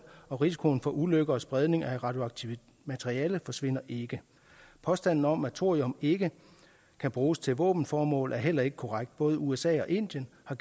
og risikoen for ulykker og spredning af radioaktivt materiale forsvinder ikke påstanden om at thorium ikke kan bruges til våbenformål er heller ikke korrekt både usa og indien har